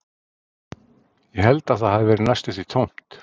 Ég held að það hafi verið næstum því tómt